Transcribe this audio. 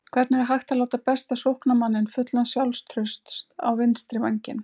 Hvernig er hægt að láta besta sóknarmanninn fullan sjálfstrausts á vinstri vænginn?